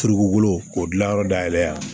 Turukolo k'o dilanyɔrɔ dayɛlɛ yan